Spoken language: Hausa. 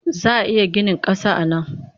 Za a iya ginin ƙasa a nan?